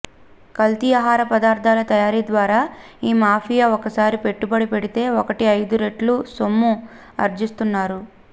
కల్తీ ఆహార పదార్ధాల తయారీ ద్వారా ఈ మాఫియా ఒకసారి పెట్టుబడి పెడితే ఒకటికి ఐదు రెట్లు సొమ్ము ఆర్జిస్తున్నారు